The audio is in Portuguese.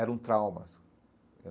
Eram traumas.